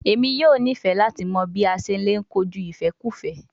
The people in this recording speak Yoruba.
Emi yoo nifẹ lati mọ bi a ṣe le koju ifẹkufẹ